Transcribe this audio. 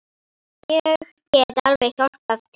Ég get alveg hjálpað til.